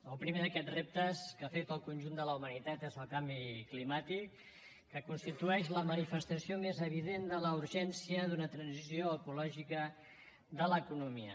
el primer d’aquests reptes que afecta el conjunt de la humanitat és el canvi climàtic que constitueix la manifestació més evident de la urgència d’una transició ecològica de l’economia